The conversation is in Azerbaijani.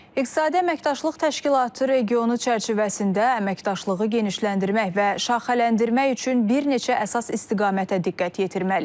İqtisadi əməkdaşlıq təşkilatı regionu çərçivəsində əməkdaşlığı genişləndirmək və şaxələndirmək üçün bir neçə əsas istiqamətə diqqət yetirməliyik.